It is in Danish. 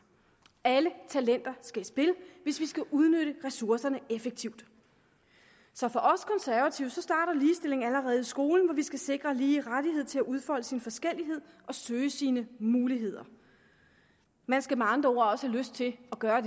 alle talenter skal i spil hvis vi skal udnytte ressourcerne effektivt så for os konservative starter ligestilling allerede i skolen hvor vi skal sikre at lige rettighed til at udfolde sine forskelligheder og søge sine muligheder man skal med andre ord også have lyst til at gøre